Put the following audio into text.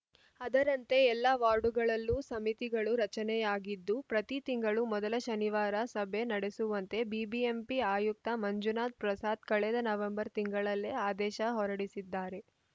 ಅದರಂತೆ ಎಲ್ಲ ವಾರ್ಡುಗಳಲ್ಲೂ ಸಮಿತಿಗಳ ರಚನೆಯಾಗಿದ್ದು ಪ್ರತೀ ತಿಂಗಳು ಮೊದಲ ಶನಿವಾರ ಸಭೆ ನಡೆಸುವಂತೆ ಬಿಬಿಎಂಪಿ ಆಯುಕ್ತ ಮಂಜುನಾಥ್‌ ಪ್ರಸಾದ್‌ ಕಳೆದ ನವೆಂಬರ್‌ ತಿಂಗಳಲ್ಲೇ ಆದೇಶ ಹೊರಡಿಸಿದ್ದಾರೆ